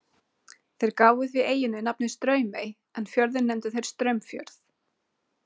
Þeir gáfu því eyjunni nafnið Straumey en fjörðinn nefndu þeir Straumfjörð.